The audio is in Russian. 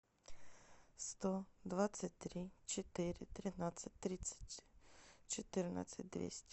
сто двадцать три четыре тринадцать тридцать четырнадцать двести